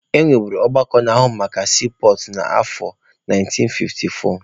E wubere ọgbakọ na-ahụ maka siipọọtụ na afọ 1954.